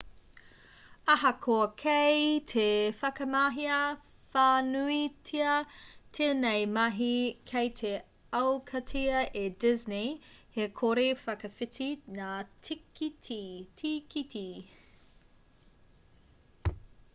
ahakoa kei te whakamahia whānuitia tēnei mahi kei te aukatia e disney he kore-whakawhiti ngā tīkiti